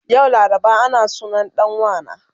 Yau laraba ana sunan dan wana